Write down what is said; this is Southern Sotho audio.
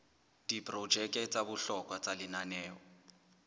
diprojeke tsa bohlokwa tsa lenaneo